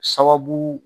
Sababu